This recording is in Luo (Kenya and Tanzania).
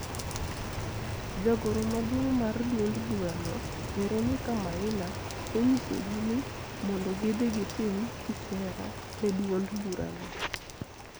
Jagoro maduong mar duond burano, Veronica Maina, nonyisogi ni mondo gidhi gitim kisera ne duond burano